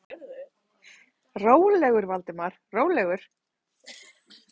Rólegur, Valdimar, rólegur.